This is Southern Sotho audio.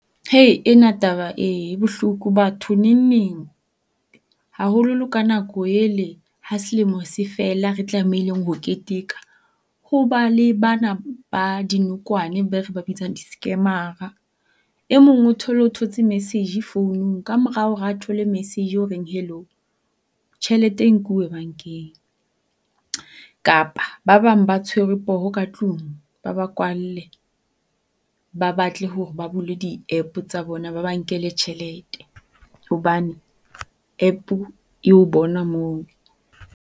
Ena taba e bohloko batho nengneng haholo ka nako ele ha selemo se fela re tlameile ho keteka ho ba le bana ba dinokwane ba re ba bitsang di-scammer-ra. E mong o thole hore o thotse message founung. Ka mora hore a thole message oreng hello, tjhelete e nkuwe bankeng. Kapa ba bang ba tshwerwe poho katlung ba ba kwalle ba batle hore ba bule di-app tsa bona ba ba nkele tjhelete hobane App-o e o bona mono.